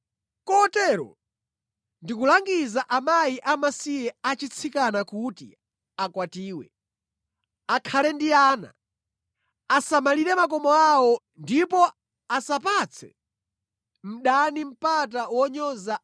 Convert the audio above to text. Kotero, ndikulangiza akazi amasiye achitsikana kuti akwatiwe, akhale ndi ana, asamalire makomo awo ndipo asamupatse mdani mpata wonyoza